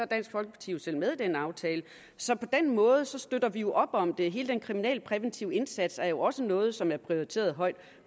dansk folkeparti selv med i den aftale så på den måde støtter vi jo op om det hele den kriminalpræventive indsats er jo også noget som er prioriteret højt